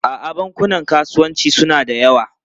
A'a, bankunan kasuwanci suna da yawa.